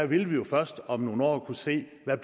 vi vil jo først om nogle år kunne se hvad